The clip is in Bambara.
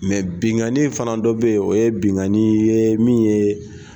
binkanni fana dɔ be yen, o ye benkanni ye min ye